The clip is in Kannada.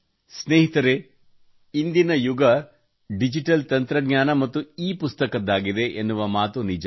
ಸ್ನೇಹಿತರೇ ಇಂದಿನ ಯುಗ ಡಿಜಿಟಲ್ ತಂತ್ರಜ್ಞಾನ ಮತ್ತು ಇಪುಸ್ತಕದ್ದಾಗಿದೆ ಎನ್ನುವ ಮಾತು ನಿಜ